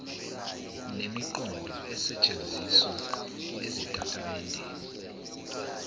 nemiqondo esetshenzisiwe ezitatimendeni